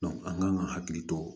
an kan ka hakili to